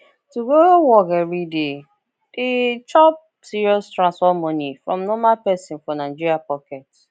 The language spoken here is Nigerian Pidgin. to go work every day dey chop serious transport money from normal person for nigeria pocket